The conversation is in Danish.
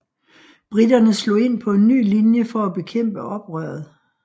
Briterne slog ind på en ny linje for at bekæmpe oprøret